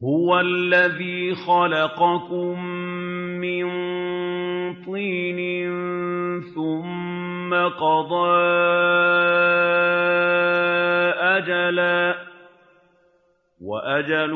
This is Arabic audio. هُوَ الَّذِي خَلَقَكُم مِّن طِينٍ ثُمَّ قَضَىٰ أَجَلًا ۖ وَأَجَلٌ